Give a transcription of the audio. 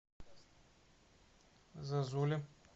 зозуле